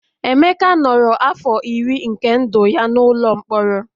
Emeka nọrọ afọ iri nke ndụ ya n'ụlọ mkpọrọ